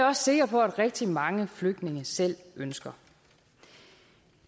også sikker på at rigtig mange flygtninge selv ønsker